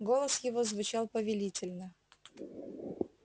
голос его звучал повелительно